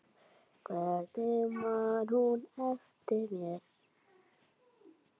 Hvernig man hún eftir mér?